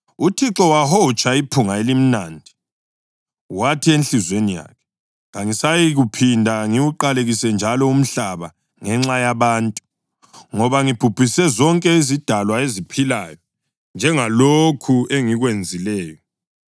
UThixo wahotsha iphunga elimnandi wathi enhliziyweni yakhe: “Kangisayikuphinda ngiwuqalekise njalo umhlaba ngenxa yabantu, ngoba imicabango yenhliziyo yomuntu mibi kusukela ebuntwaneni bakhe. Njalo kangisoze lanini ngiphinde ngibhubhise zonke izidalwa eziphilayo, njengalokhu engikwenzileyo.